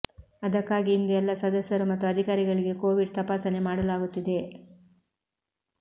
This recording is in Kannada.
ಅದಕ್ಕಾಗಿ ಇಂದು ಎಲ್ಲ ಸದಸ್ಯರು ಮತ್ತು ಅಧಿಕಾರಿಗಳಿಗೆ ಕೋವಿಡ್ ತಪಾಸಣೆ ಮಾಡಲಾಗುತ್ತಿದೆ